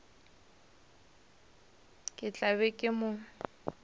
ke tla be ke mo